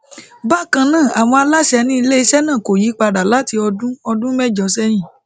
bakan naa awọn alaṣẹ ni ileiṣẹ naa ko yipada lati ọdun ọdun mẹjọ sẹyin